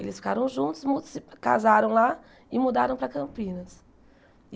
Eles ficaram juntos, mu se casaram lá e mudaram para Campinas.